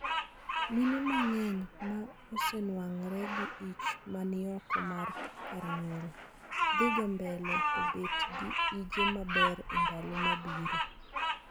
mine ma ng'eny ma osenuangre gi ich ma ni oko mar kar nyuol dhi ga mbele to bet gi ije ma ber e ndalo ma biro